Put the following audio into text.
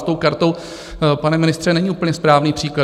S tou kartou, pane ministře, není úplně správný příklad.